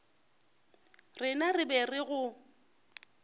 rena re be re go